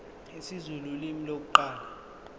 isizulu ulimi lokuqala